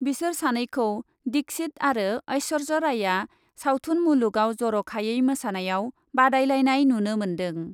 बिसोर सानैखौ दिक्षित आरो एस्वर्य रायआ सावथुन मुलुगआव जर ' खायै मोसानायाव बादायलायनाय नुनो मोन्दों ।